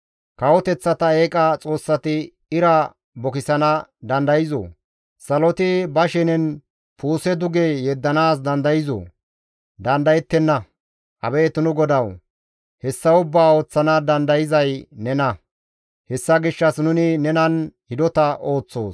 Kawoteththata eeqa xoossati ira bukisana dandayzoo? Saloti ba shenen puuse duge yeddanaas dandayzoo? Dandayettenna; Abeet nu GODAWU! Hessa ubbaa ooththana dandayzay nena; hessa gishshas nuni nenan hidota ooththoos.